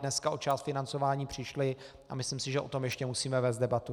Dneska o část financování přišly a myslím si, že o tom ještě musíme vést debatu.